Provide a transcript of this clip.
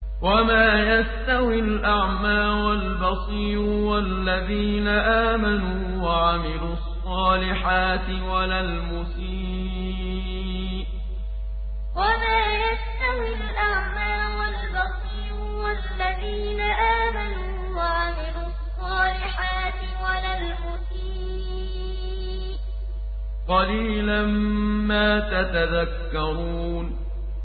وَمَا يَسْتَوِي الْأَعْمَىٰ وَالْبَصِيرُ وَالَّذِينَ آمَنُوا وَعَمِلُوا الصَّالِحَاتِ وَلَا الْمُسِيءُ ۚ قَلِيلًا مَّا تَتَذَكَّرُونَ وَمَا يَسْتَوِي الْأَعْمَىٰ وَالْبَصِيرُ وَالَّذِينَ آمَنُوا وَعَمِلُوا الصَّالِحَاتِ وَلَا الْمُسِيءُ ۚ قَلِيلًا مَّا تَتَذَكَّرُونَ